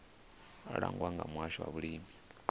langwa nga muhasho wa vhulimi